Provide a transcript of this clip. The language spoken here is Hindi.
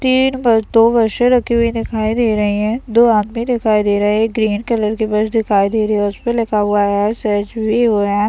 तीन बस दो बसे रखी हुई दिखाई दे रही है दो आदमी दिखाई दे रहे है एक ग्रीन कलर की बस दिखाई दे रही हैं उसपे लिखा हुआ है सर्जरी वैन ।